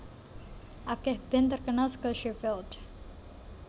Akeh band terkenal saka Sheffield